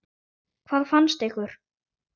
Hvað fannst ykkur?